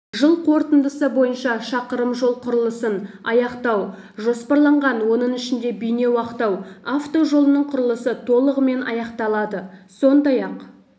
жыл қорытындысы бойынша шақырым жол құрылысын аяқтау жоспарланған оның ішінде бейнеу-ақтау автожолының құрылысы толығымен аяқталады сондай-ақ